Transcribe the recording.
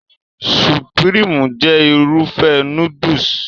Supirimu jẹ́ Irúfẹ́ núdùsì